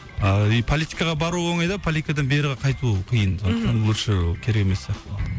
а и политикаға бару оңай да политикадан бері қайту қиын мхм сондықтан лучше керек емес сияқты